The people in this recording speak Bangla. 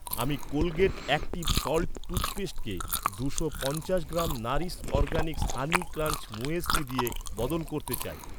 আমি কোলগেট অ্যাক্টিভ সল্ট টুথপেস্টকে দুশো পঞ্চাশ gram Nourish organics honey crunch muesli দিয়ে বদল করতে চাই।